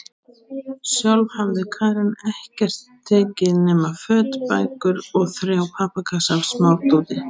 Sjálf hafði Karen ekkert tekið nema föt, bækur og þrjá pappakassa af smádóti.